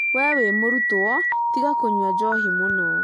Wee wĩ mũrutwo tiga kũnyua njohi mũno